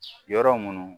Yɔrɔ minnu